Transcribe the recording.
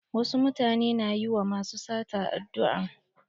Wasu mutane na yi wa masu sata addu'a.